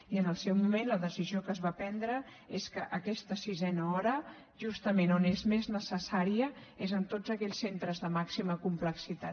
i en el seu moment la decisió que es va prendre és que aquesta sisena hora justament on és més necessària és en tots aquells centres de màxima complexitat